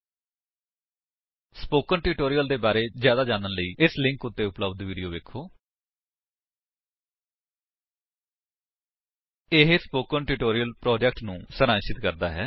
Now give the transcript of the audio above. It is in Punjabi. ਸਪੋਕਨ ਟਿਊਟੋਰਿਅਲ ਪ੍ਰੋਜੇਕਟ ਦੇ ਬਾਰੇ ਵਿੱਚ ਜਿਆਦਾ ਜਾਣਨ ਲਈ ਇਸ ਲਿੰਕ ਉੱਤੇ ਉਪਲੱਬਧ ਵੀਡੀਓ ਵੇਖੋ http spoken tutorial org What is a Spoken Tutorial ਇਹ ਸਪੋਕਨ ਟਿਊਟੋਰਿਅਲ ਪ੍ਰੋਜੇਕਟ ਨੂੰ ਸਾਰਾਂਸ਼ਿਤ ਕਰਦਾ ਹੈ